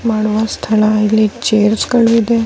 ಮಾಡುವ ಸ್ಥಳ ಇಲ್ಲಿ ಚೇರ್ಸ್ ಗಳು ಇದೆ .